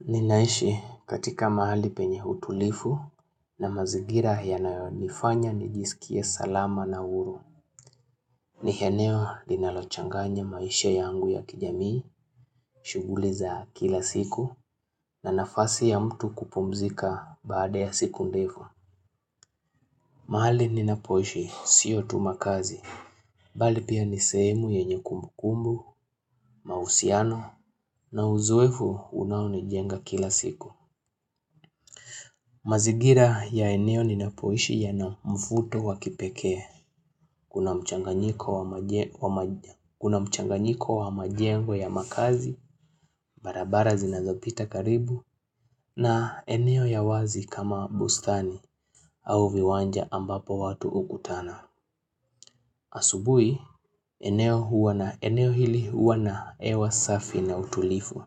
Ninaishi katika mahali penye utulivu na mazingira yanayonifanya nijisikie salama na huru. Ni eneo linalochanganya maisha yangu ya kijamii, shuguli za kila siku na nafasi ya mtu kupumzika baada ya siku ndefu. Mahali ninapoishi, sio tu makazi. Bali pia ni sehemu yenye kumbukumbu, mahusiano na uzoefu unaounijenga kila siku. Mazingira ya eneo ninapoishi yana mafuto wa kipekee, kuna mchanganyiko wa majengo ya makazi, barabara zinazopita karibu, na eneo ya wazi kama bustani au viwanja ambapo watu hukutana. Asubui, eneo huwa na eneo hili huwa na hewa safi na utulivu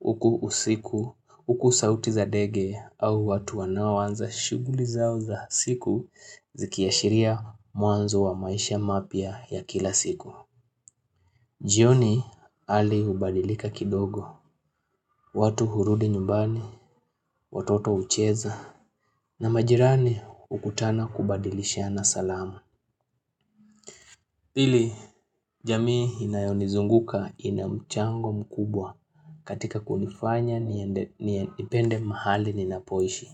Huku usiku, huku sauti za dege au watu wanaowanza shuguli zao za siku zikiashiria mwanzo wa maisha mapya ya kila siku jioni hali hubadilika kidogo watu hurudi nyumbani, watoto hucheza na majirani hukutana kubadilishana salamu Pili, jamii inayonizunguka ina mchango mkubwa katika kunifanya nipende mahali ninapoishi.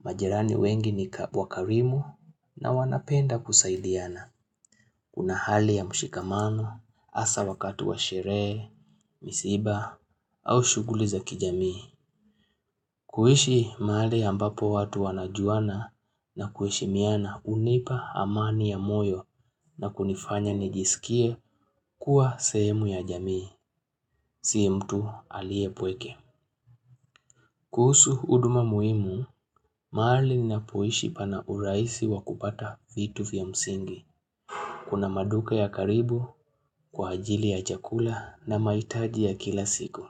Majirani wengi ni wakarimu na wanapenda kusaidiana. Kuna hali ya mshikamano, hasa wakati wa sherehe, misiba au shughuli za kijamii. Kuishi mahali ambapo watu wanajuana na kuheshimiana hunipa amani ya moyo na kunifanya nijisikie kuwa sehemu ya jamii, si mtu aliye pweke. Kuhusu huduma muhimu, mahali ninapoishi pana urahisi wa kupata vitu vya msingi, kuna maduka ya karibu, kwa ajili ya chakula na mahitaji ya kila siku.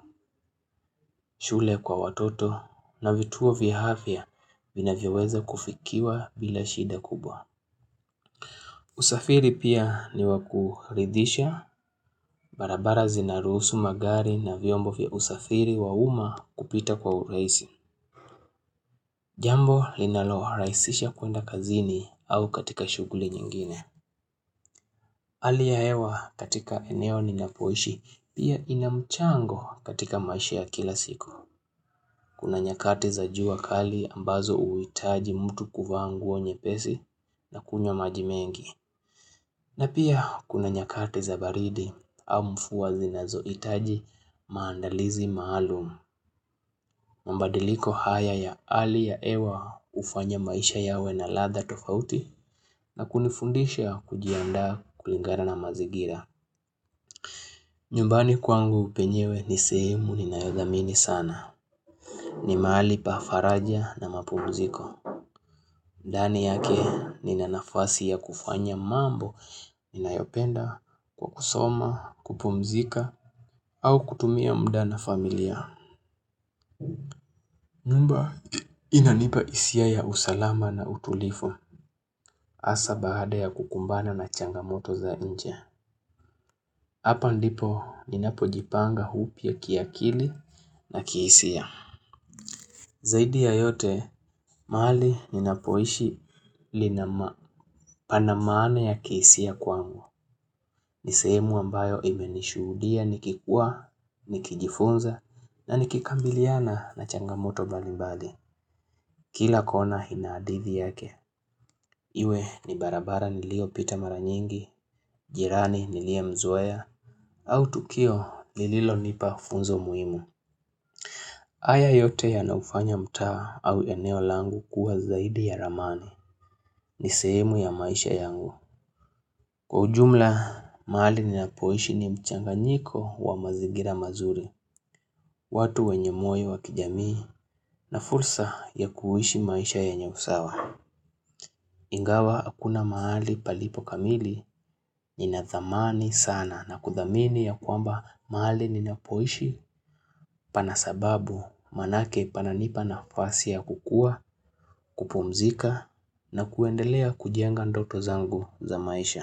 Shule kwa watoto na vituo vya afya vinavyoweza kufikiwa bila shida kubwa. Usafiri pia ni wa kuridhisha, barabara zinaruhusu magari na vyombo vya usafiri wa umma kupita kwa urahisi. Jambo linalorahisisha kuenda kazini au katika shughuli nyingine. Hali ya hewa katika eneo ninapoishi pia ina mchango katika maisha kila siku. Kuna nyakati za jua kali ambazo huitaji mtu kuvaa nguo nyepesi na kunywa lmaji mengi. Na pia kuna nyakati za baridi au mvua zinazohitaji maandalizi maalum. Mabadiliko haya ya hali ya hewa hufanya maisha yawe na ladha tofauti na kunifundisha kujiandaa kulingaba na mazingira. Nyumbani kwangu penyewe ni sehemu ninayodhamini sana. Ni mahali pa faraja na mapumziko. Ndani yake nina nafasi ya kufanya mambo ninayopenda kwa kusoma, kupumzika au kutumia muda na familia. Nyumba inanipa hisia ya usalama na utulifu hasa baada ya kukumbana na changamoto za nje. Hapa ndipo ninapojipanga upya kiakili na kihisia. Zaidi ya yote, mahali ninapoishi lina ma pana maana ya kihisia kwangu. Ni sehemu ambayo imenishuhudia nikikua, nikijifunza, na nikikabiliana na changamoto mbalimbali. Kila kona ina hadithi yake, iwe ni barabara niliopita mara nyingi, jirani niliyemzoeya, au tukio nililonipa funzo muhimu. Haya yote yanaufanya mtaa au eneo langu kuwa zaidi ya ramani, ni sehemu ya maisha yangu. Kwa ujumla, mahali ninapoishi ni mchanganyiko wa mazingira mazuri, watu wenye moyo wa kijamii na fursa ya kuishi maisha ya nyenye usawa. Ingawa hakuna mahali palipo kamili, ninathamani sana na kuthamini ya kwamba mahali ninapoishi pana sababu manake pananipa nafasi ya kukua, kupumzika na kuendelea kujenga ndoto zangu za maisha.